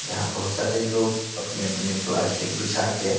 यहां बहुत सारे लोग अपने-अपने प्लास्टिक बिछा के --